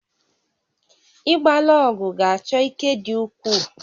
Ịgba lọọgụ̀ ga-achọ ike dị ukwuu